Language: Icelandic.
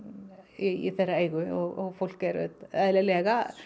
í þeirra eigu og fólk er auðvitað eðlilega